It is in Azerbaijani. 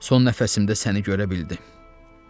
Son nəfəsimdə səni görə bildim.”